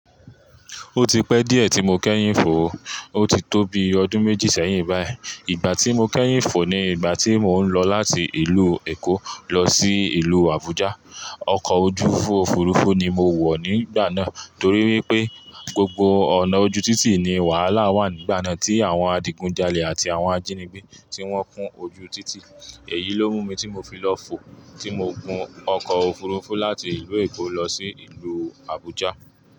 Ó ti pẹ́ díẹ̀ tí mo kẹ́yìn fò, ó ti tó bi ọdún méjì sẹ́yìn báyìí. Ìgbà tí mo kẹ́yìn fò ni ìgbà tí mò ń lọ láti ìlú Èkó lọ sí ìlú Abuja. Ọkọ̀ ojú òfurufú ni mo wọ̀ nígbà náà torí wípé gbogbo ọ̀nà ojú títì ni wàhálà wà nígbà náà tí àwọn adigunjalè àti àwọn ajínigbé tí wọ́n kún ojú títì. Èyí ló mú mi tí mo fi lọ fò tí mo gun ọkọ̀ òfurufú láti ìlú Èkó lọ sí ìlú Abuja.